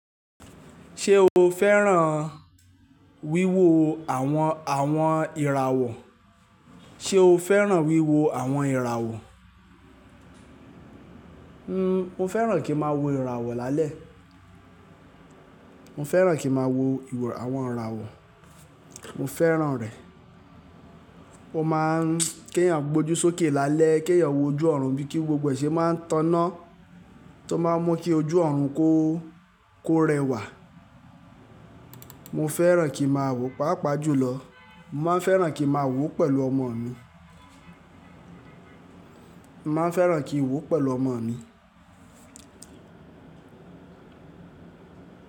Ṣé o fẹ́ràn wíwo àwọn àwọn ìràwọ̀? Ṣé o fẹ́ràn wíwo àwọn ìràwọ̀? N o fẹ́ràn kí n máa wo ìràwọ̀ lálẹ́. Mo fẹ́ràn kí máa wo àwọn ìràwọ̀. Mo fẹ́ràn rẹ̀. O máa ń kí ẹ̀yàn gbójú sókè lálẹ́, kí ẹ̀yàn wo ojú ọ̀run bíi kí gbogbo ẹṣẹ máa ń tọ́nà tó máa ń mú kí ojú ọ̀run kó kó rẹwà. Mo fẹ́ràn kí màá wò, pàápàá jùlọ, mo máa ń fẹ́ràn kí màá wò pẹ̀lú ọmọ mi. Mo máa ń fẹ́ràn kí n wò pẹ̀lú ọmọ mi.